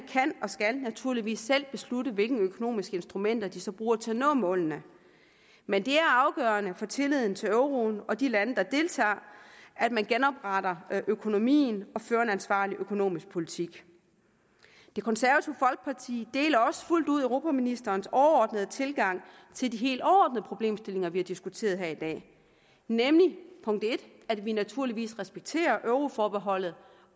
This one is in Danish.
naturligvis selv beslutte hvilke økonomiske instrumenter de så bruger til at nå målene men det er afgørende for tilliden til euroen og de lande der deltager at man genopretter økonomien og fører en ansvarlig økonomisk politik det konservative folkeparti deler også fuldt ud europaministerens overordnede tilgang til de helt overordnede problemstillinger vi har diskuteret her i dag nemlig at vi naturligvis respekterer euroforbeholdet